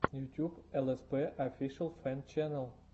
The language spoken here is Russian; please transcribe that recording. ютуб элэспэ офишэл фэн чэнэл